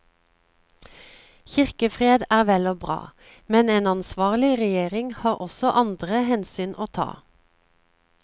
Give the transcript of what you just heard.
Kirkefred er vel og bra, men en ansvarlig regjering har også andre hensyn å ta.